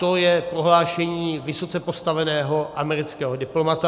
To je prohlášení vysoce postaveného amerického diplomata.